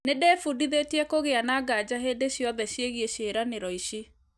Nĩndĩbundithĩtie kũgĩa na ngaja hĩndĩ ciothe ciĩgiĩ cĩĩranĩro ici